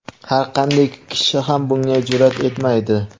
har qanday kishi ham bunga jur’at etmaydi.